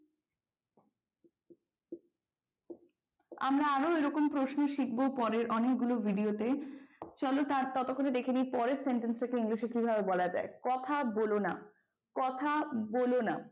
আমরা আরো এরকম প্রশ্ন শিখব পরের অনেকগুলো video তে ।চলো ততক্ষণে দেখে নেই পরের sentence টা কে english এ কিভাবে বলা যায় কথা বলোনা, কথা বলোনা।